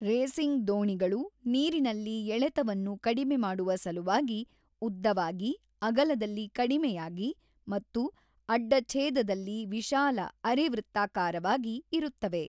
Racing ದೋಣಿಗಳು ನೀರಿನಲ್ಲಿ ಎಳೆತವನ್ನು ಕಡಿಮೆ ಮಾಡುವ ಸಲುವಾಗಿ ಉದ್ದವಾಗಿ, ಅಗಲದಲ್ಲಿ ಕಡಿಮೆಯಾಗಿ ಮತ್ತು ಅಡ್ಡ-ಛೇದದಲ್ಲಿ ವಿಶಾಲ ಅರೆ-ವೃತ್ತಾಕಾರವಾಗಿ ಇರುತ್ತವೆ.